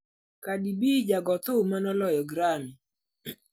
Cardi B: Jago thum ma ne oloyo Grammy